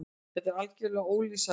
Þetta er algerlega ólýsanlegt.